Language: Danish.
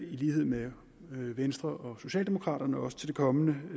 i lighed med venstre og socialdemokraterne også til det kommende